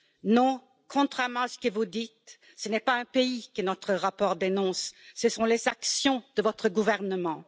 Non, contrairement à ce que vous dites, ce n'est pas un pays que notre rapport dénonce, ce sont les actions de votre gouvernement.